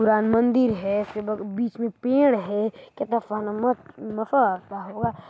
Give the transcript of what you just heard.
राम मंदिर है बीच में पेड़ है--